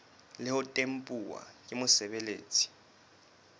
le ho tempuwa ke mosebeletsi